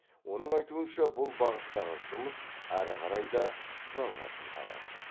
оның айтуынша бұл бағыттағы жұмыс ары қарай да жалғасын табады